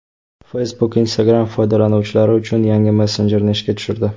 Facebook Instagram foydalanuvchilari uchun yangi messenjerni ishga tushirdi.